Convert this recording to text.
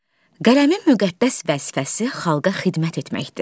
Qələmin müqəddəs vəzifəsi xalqa xidmət etməkdir.